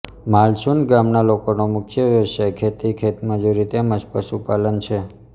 માલસુંદ ગામના લોકોનો મુખ્ય વ્યવસાય ખેતી ખેતમજૂરી તેમ જ પશુપાલન છે